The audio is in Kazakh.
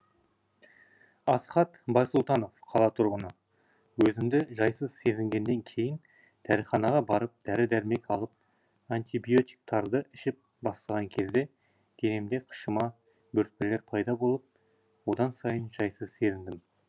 асхат байсұлтанов қала тұрғыны өзімді жайсыз сезінгеннен кейін дәріханаға барып дәрі дәрмек алып антибиотиктарды ішіп бастаған кезде денемде қышыма бөртпелер пайда болып одан сайын жайсыз сезіндім